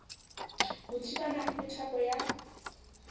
ho thibana ha methapo ya